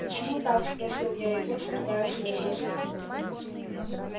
почему так спросил я его скрывая свою досаду